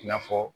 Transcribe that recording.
I n'a fɔ